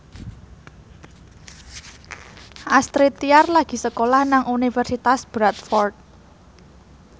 Astrid Tiar lagi sekolah nang Universitas Bradford